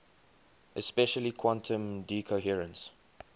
especially quantum decoherence